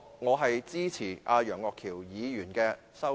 我支持楊岳橋議員的議案。